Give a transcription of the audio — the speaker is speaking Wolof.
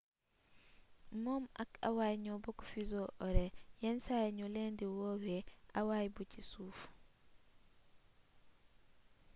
moom ak hawaï ñoo bokk fuseau horaire yenn saay ñu leen di woowe hawaii bi ci suuf